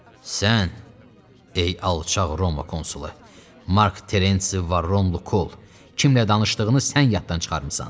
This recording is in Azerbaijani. Sən, ey alçaq Roma konsulu Mark Terensi Varrun Lukul, kiminlə danışdığını sən yaddan çıxarmısan.